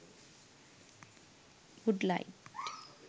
wood light